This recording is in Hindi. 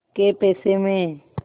कै पैसे में